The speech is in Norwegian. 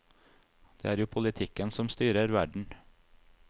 Det er jo politikken som styrer verden.